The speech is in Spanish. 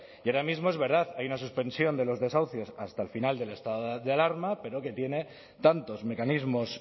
y ahora mismo es verdad hay una suspensión de los desahucios hasta el final del estado de alarma pero que tiene tantos mecanismos